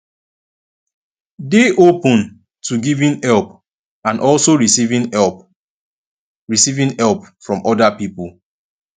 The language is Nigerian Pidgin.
dey open to giving help and also receiving help receiving help from oda pipo